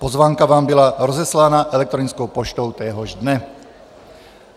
Pozvánka vám byla rozeslána elektronickou poštou téhož dne.